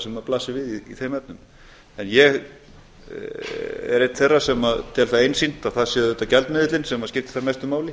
sem blasir við í þeim efnum en ég er einn þeirra sem tel það einsýnt að það sé auðvitað gjaldmiðillinn sem skiptir hvað mestu máli